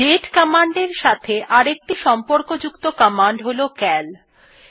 দাতে command এর সাথে অপর একটি সম্পর্কযুক্ত কমান্ড হল সিএএল কমান্ড